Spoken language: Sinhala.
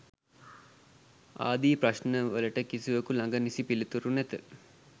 ආදී ප්‍රශ්න වලට කිසිවකු ළඟ නිසි පිළිතුරු නැත.